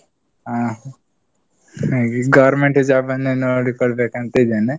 ಹಾ. ನಂಗೆ government job ನೇ ನೋಡಿಕೊಳ್ಬೇಕ್ ಅಂತಾ ಇದ್ದೇನೆ.